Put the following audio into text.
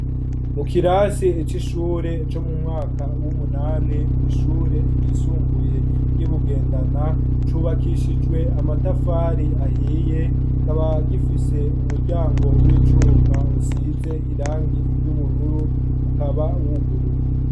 Mu kirasi icishure cyo mu mwaka w'umunani ku ishure ryisumbuye ry'ibugendana cubakishijwe amatafari ahiye kaba gifise umuryango w'icuma usize irangi iry'ubururu ukaba wuguruye